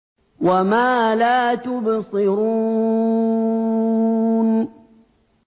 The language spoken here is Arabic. وَمَا لَا تُبْصِرُونَ